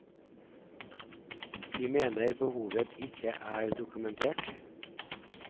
De mener behovet ikke er dokumentert.